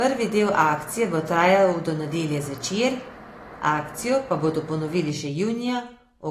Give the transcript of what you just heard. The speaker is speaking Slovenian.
Prvi del akcije bo trajal do nedelje zvečer, akcijo pa bodo ponovili še junija,